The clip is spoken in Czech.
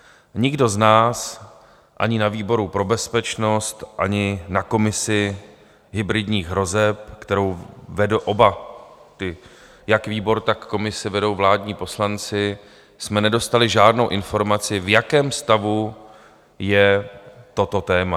Nikdo z nás ani na výboru pro bezpečnost, ani na komisi hybridních hrozeb, kterou vedl oba, jak výbor, tak komisi vedou vládní poslanci, jsme nedostali žádnou informaci, v jakém stavu je toto téma.